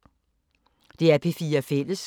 DR P4 Fælles